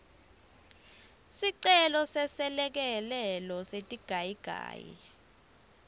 sicelo seselekelelo setigayigayi